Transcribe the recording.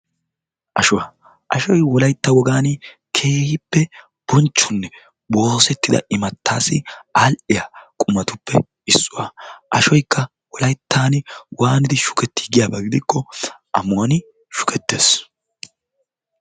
ashuwaa, ashoy wolaytta wogan bonchchetidanne immatiyo aal''iya qumatuppe issuwaa. ashoy waanidi shukketi giyaaba gidikko ammuwaani shukkeettees.